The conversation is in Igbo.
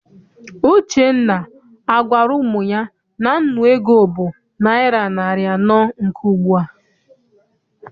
Uchenna agwara ụmụ ya na nnu ego bụ naịra narị anọ nke ugbua?